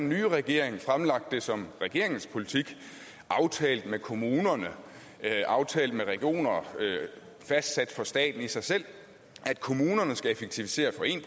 nye regering så fremlagt det som regeringens politik aftalt med kommunerne aftalt med regionerne fastsat for staten i sig selv at kommunerne skal effektivisere for en